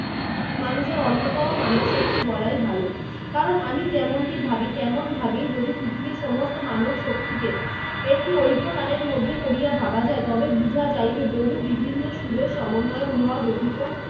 মানুষের অন্যতম মানবশক্তি বলাই ভালো। কারণ আমি যেমনটি ভাবি তেমন ভাবে যদি পৃথিবীর সমস্ত মানবশক্তিকে একটি ঐকতানের মধ্যে দিয়া ভাবা যায় তবে বুঝা যাইবে বহু বিভিন্ন সুরের সমন্বয়ে উহা গঠিত